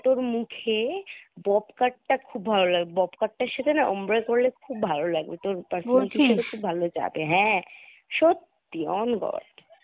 তোর মুখে bob cut টা খুব ভালো লাগবে bob cut টার সাথে না ombre করলে খুব ভালো লাগবে তোর personality এর সাথে খুব ভালো যাবে , হ্যাঁ সত্যি on God